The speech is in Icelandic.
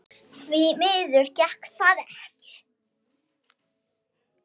Því miður gekk það ekki.